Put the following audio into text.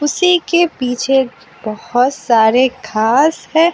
इसी के पीछे बोहोत सारे घास है।